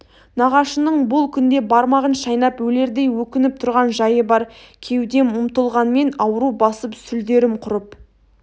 нағашының бұл күнде бармағын шайнап өлердей өкініп тұрған жайы бар кеудем ұмтылғанмен ауру басып сүлдерім құрып